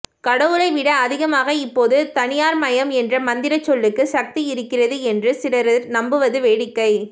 கடவுளை விட அதிகமாக இப்போது தனியார்மயம் என்ற மந்திர சொல்லுக்கு சக்தி இருக்கிறது என்று சிலர் நம்புவது வேடிக்கை